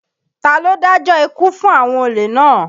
Ta ló dájọ́ ikú fún àwọn olè náà?